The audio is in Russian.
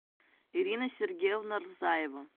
ирина сергеевна рзаева